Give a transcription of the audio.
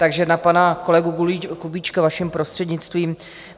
Takže na pana kolegu Kubíčka, vaším prostřednictvím.